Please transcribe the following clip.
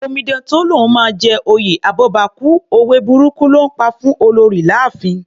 Omidan tó lóun máa jẹ oyè abọ́bakú, òwe burúkù ló ńpa fún Olorì láàfin.